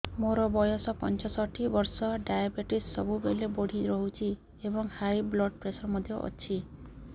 ମୋର ବୟସ ପଞ୍ଚଷଠି ବର୍ଷ ଡାଏବେଟିସ ସବୁବେଳେ ବଢି ରହୁଛି ଏବଂ ହାଇ ବ୍ଲଡ଼ ପ୍ରେସର ମଧ୍ୟ ଅଛି